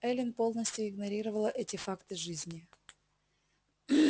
эллин полностью игнорировала эти факты жизни